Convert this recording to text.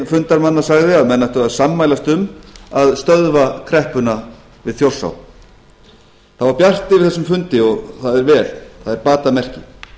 fundarmanna sagði að menn ættu að sammælast um að stöðva kreppuna við þjórsá það var bjart yfir þessum fundi og það er vel það er batamerki